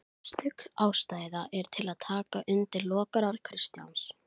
Efast stöðugt um sjálfan sig, verk sín, tilgang sinn.